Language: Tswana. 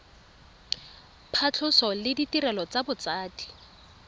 phatlhoso le ditirelo tsa botsadi